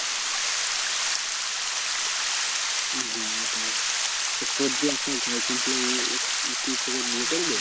হ্যাঁ ওটাই তোর যে একটা girlfriend ছিল ও ও কি তোকে বিয়ে করবে?